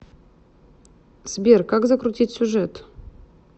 сбер как закрутить сюжет